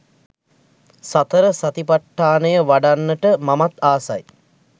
සතර සතිපට්ඨානය වඩන්නට මමත් ආසයි.